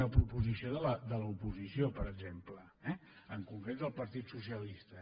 una proposició de l’oposició per exemple eh en concret del partit socialista